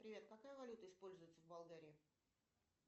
привет какая валюта используется в болгарии